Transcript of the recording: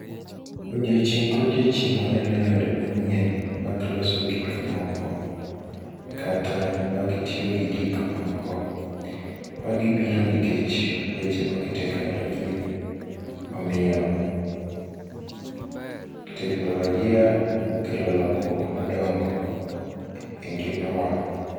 Odiochieng' kodiochieng' waneno yore manyien mag loso gikmoko, kata mag tiyo gi gik moko. Magi biro nikech weche mag teknolojia. Omiyo teknolojia okelo lokruok madongo e ngima wa.